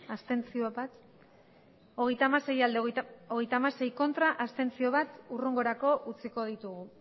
abstentzioa hogeita hamasei bai hogeita hamasei ez bat abstentzio hurrengorako utziko dugu